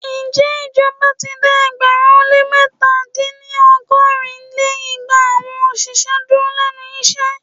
Ǹjẹ́ ìjọba ti dá ẹgbẹ̀rún ó lé mẹ́ta- dín ní ọgọ́rin lé igba awọn òṣìṣẹ́ dúró lénu iṣẹ́?